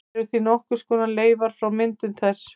Þær eru því nokkurs konar leifar frá myndun þess.